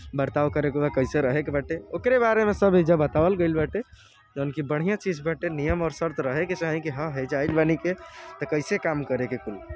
बरताव करे के बा कैसे रहे के बाटे ओकरे बारे में सब ऐजा बतावल गइल बाटे जौन की बढ़िया चीज़ बाटे नियम और शर्त रहे की चाही कि हाँ ऐजा आइल बानी की त कैसे काम करे के कुल।